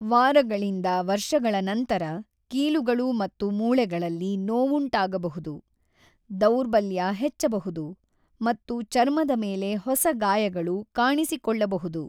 ವಾರಗಳಿಂದ ವರ್ಷಗಳ ನಂತರ, ಕೀಲುಗಳು ಮತ್ತು ಮೂಳೆಗಳಲ್ಲಿ ನೋವುಂಟಾಗಬಹುದು, ದೌರ್ಬಲ್ಯ ಹೆಚ್ಚಬಹುದು ಮತ್ತು ಚರ್ಮದ ಮೇಲೆ ಹೊಸ ಗಾಯಗಳು ಕಾಣಿಸಿಕೊಳ್ಳಬಹುದು.